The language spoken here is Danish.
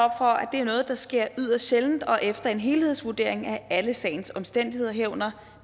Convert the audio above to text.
er noget der sker yderst sjældent og efter en helhedsvurdering af alle sagens omstændigheder herunder